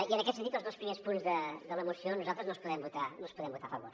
i en aquest sentit els dos primers punts de la moció nosaltres no els podem votar a favor